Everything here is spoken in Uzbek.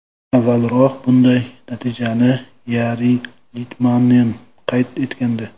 Avvalroq bunday natijani Yari Litmanen qayd etgandi.